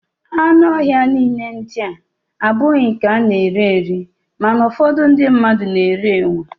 Anụ ọhịa niile ndịa abụghị nke a na-eri eri, mana ụfọdụ ndị mmadụ na-eri enwe